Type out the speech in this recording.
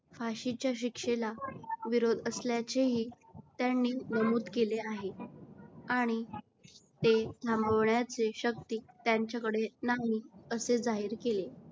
फाशीच्या शिक्षेला विरोध असल्याचेही त्यांनी नमूद केले आहे. आणि ते थांबवण्याची शक्ती त्यांच्याकडे नाही असे जाहीर केले.